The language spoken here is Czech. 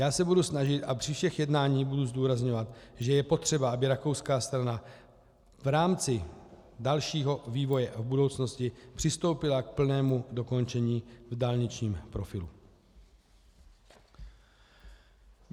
Já se budu snažit a při všech jednáních budu zdůrazňovat, že je potřeba, aby rakouská strana v rámci dalšího vývoje v budoucnosti přistoupila k plnému dokončení v dálničním profilu.